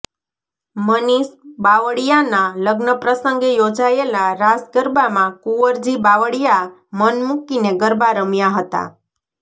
મનીષ બાવળીયાના લગ્ન પ્રસંગે યોજાયેલા રાસ ગરબામાં કુંવરજી બાવળીયા મન મુકીને ગરબા રમ્યા હતાં